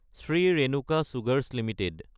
Shri Renuka sugars Ltd